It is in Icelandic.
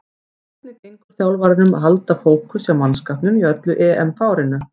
Hvernig gengur þjálfaranum að halda fókus hjá mannskapnum í öllu EM-fárinu?